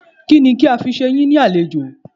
Kínni kí a fi ṣe yín ní àlejò?